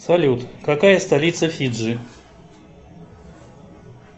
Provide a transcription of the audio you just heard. салют какая столица фиджи